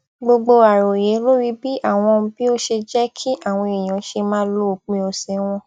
gbogbo àròyé lórí bí àwọn bí ó ṣe jẹ kí àwọn èèyàn ṣe máa lo òpin ọsẹ wọn